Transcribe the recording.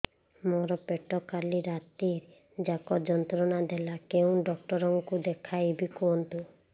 ମୋର ପେଟ କାଲି ରାତି ଯାକ ଯନ୍ତ୍ରଣା ଦେଲା କେଉଁ ଡକ୍ଟର ଙ୍କୁ ଦେଖାଇବି କୁହନ୍ତ